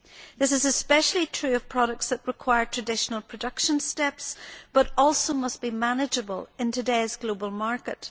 This is especially true of products that require traditional production steps but must also be manageable in today's global market.